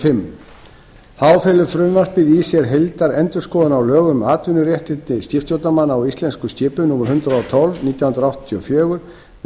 fimm þá felur frumvarpið í sér heildarendurskoðun á lögum um atvinnuréttindi skipstjórnarmanna á íslenskum skipum númer hundrað og tólf nítján hundruð áttatíu og fjögur með